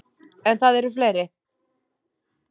En það eru fleiri.